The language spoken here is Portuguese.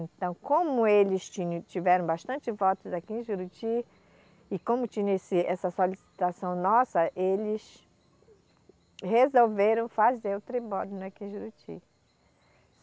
Então, como eles tinham, tiveram bastante votos aqui em Juruti, e como tinha esse, essa solicitação nossa, eles resolveram fazer o tribódomo aqui em Juruti.